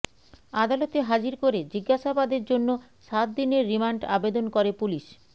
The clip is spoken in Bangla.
আদালতে হাজির করে জিজ্ঞাসাবাদের জন্য সাত দিনের রিমান্ড আবেদন করে পুলিশ